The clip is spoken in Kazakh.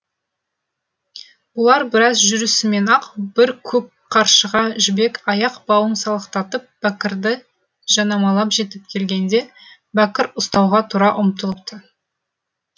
бұлар біраз жүрісімен ақ бір көк қаршыға жібек аяқ бауын салақтатып бәкірді жанамалап жетіп келгенде бәкір ұстауға тұра ұмтылыпты